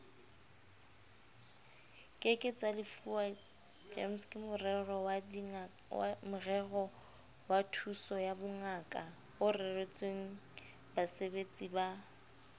ke ke tsalefuwa gemskemorerowathusoyabongakaoreretswengbasebeletsi ba